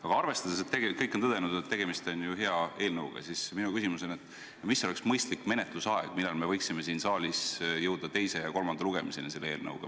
Aga arvestades seda, et kõik on tõdenud, et tegemist on hea eelnõuga, siis minu küsimus on järgmine: mis oleks mõistlik menetlusaeg, millal me võiksime siin saalis jõuda selle eelnõu teise ja kolmanda lugemiseni?